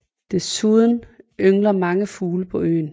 Desuden yngler mange fugle på øen